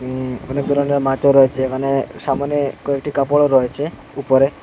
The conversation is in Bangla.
ইম অনেক ধরনের মাছও রয়েছে এখানে সামোনে কয়েকটি কাপড়ও রয়েছে উপরে।